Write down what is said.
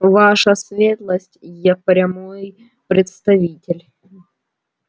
ваша светлость я прямой представитель